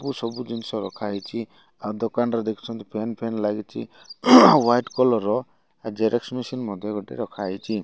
ପୁ ସବୁ ଜିନିଷ ରଖାହେଇଛି ଆଉ ଦୋକାନରେ ଦେଖୁଛନ୍ତି ପେନ୍ ଫେନ୍ ଲାଗିଛି ହ୍ୱାଇଟ୍ କଲର୍ ର ଜେରକ୍ସ୍ ମେସିନ୍ ମଧ୍ୟ ଗୋଟେ ରଖାହେଇଛି।